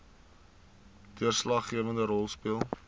deurslaggewende rol speel